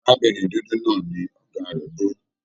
Arábìnrin dúdú náà ní ọgá rẹ bu.